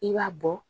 I b'a bɔ